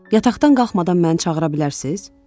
Yataqdan qalxmadan məni çağıra bilərsiz?